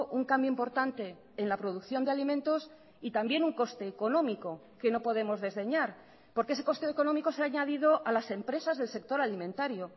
un cambio importante en la producción de alimentos y también un coste económico que no podemos desdeñar porque ese coste económico se ha añadido a las empresas del sector alimentario